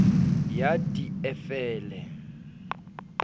ya d e f le